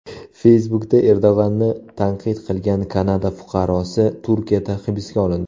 Facebook’da Erdo‘g‘onni tanqid qilgan Kanada fuqarosi Turkiyada hibsga olindi .